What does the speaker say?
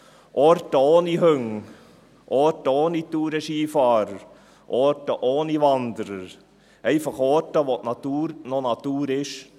Orte ohne Hunde, Orte ohne Tourenskifahrer, Orte ohne Wanderer, einfach Orte, wo die Natur noch Natur ist.